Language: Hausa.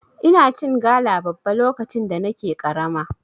Ina cin gala babba lokacin da nake karama.